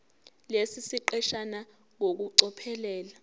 lesi siqeshana ngokucophelela